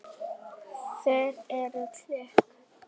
Þér eruð engum lík!